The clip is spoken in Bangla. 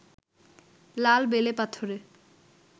লাল বেলে পাথরে